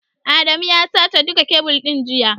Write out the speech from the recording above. Adamu ya sace duka kebil ɗin jiya.